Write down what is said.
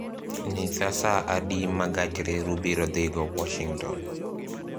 Nyisa sa adi ma gach reru biro dhigo Washington